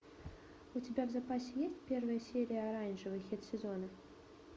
у тебя в запасе есть первая серия оранжевый хит сезона